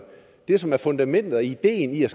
det som er fundamentet og idéen i at